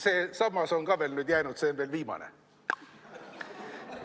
See sammas on ka veel nüüd jäänud, see on viimane.